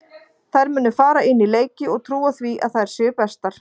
Þær munu fara inn í leiki og trúa því að þær séu bestar.